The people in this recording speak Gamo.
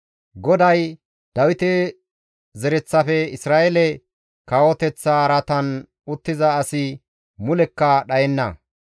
«GODAY, ‹Dawite zereththafe Isra7eele kawoteththa araatan uttiza asi mulekka dhayenna.